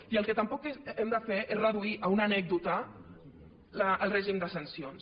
i el que tampoc hem de fer és reduir a una anècdota el règim de sancions